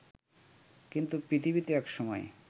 কিন্তু পৃথিবীতে একসময়